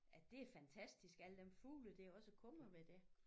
At det er fantastisk alle dem fugle der også er kommet med det